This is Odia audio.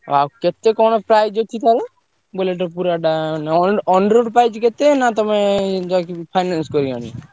ଆଉ କେତେ କଣ price ଅଛି ତାର? Bullet ପୁରା ଟା ମାନେ ~ଅନ price କେତେ ନା ତମେ ଯାଇକି finance କରି ଆଣିବ?